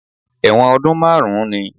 Ẹ̀wọ̀n ọdún márùn-ún ni